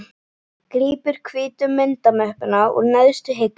Grípur hvítu myndamöppuna úr neðstu hillunni.